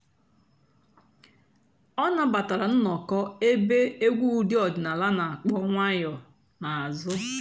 ọ́ nàbàtàrà ǹnọ́kọ̀ èbé ègwú ụ́dị́ ọ̀dị́náàlà nà-àkpọ́ ǹwànyọ́ n'àzụ́.